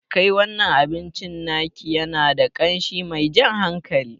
Kai, wannan abincin naki yana da ƙashi mai jan hankali